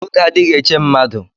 Oge adighi eche mmadu.